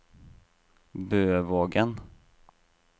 Bøvågen